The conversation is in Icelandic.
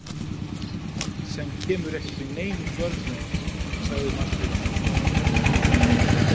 Sem kemur ekki við neinum vörnum, sagði Marteinn.